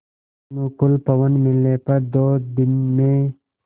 अनुकूल पवन मिलने पर दो दिन में